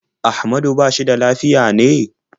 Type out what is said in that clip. Ahmadu ba shi da lafiya ne?